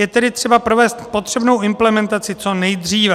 Je tedy třeba provést potřebnou implementaci co nejdříve.